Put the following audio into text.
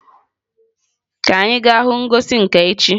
Ka anyị gaa hụ ngosi nka echi.